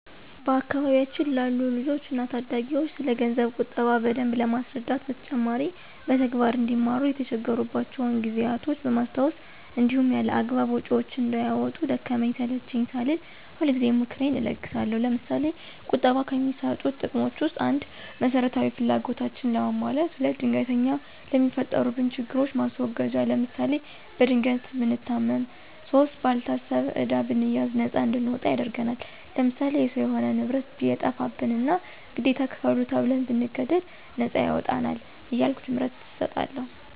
በአካባቢያችን ላሉ ልጆች እና ታዳጊዎች ስለገንዘብ ቁጠባ በደንብ ከማስረዳት በተጨማሪ በተግባር አንዲማሩ የተቸገሩባቸውን ጊዜያቶች በማስታወስ እንዲሁም ያላግባብ ወጭዎችን እንዳያወጡ ደከመኝ ሰለቼኝ ሳልል ሁልጊዜ ምክሬን እለግሳለሁ። ለምሳሌ፦ ቁጠባ ከሚሰጡት ጥቅሞች ውስጥ፦ ፩) መሰረታዊ ፍላጎታችንን ለማሟላት። ፪) ድንገተኛ ለሚፈጠሩብን ችግሮች ማስወገጃ ለምሳሌ፦ በድንገት ብንታመም ፫) ባልታሰበ ዕዳ ብንያዝ ነፃ እንድንወጣ ያደርግናል። ለምሳሌ፦ የሰው የሆነ ንብረት ቢጠፋብንና ግዴታ ክፈሉ ተብን ብንገደድ ነፃ ያወጣናል። እያልሁ ትምህርት እሰጣለሁ።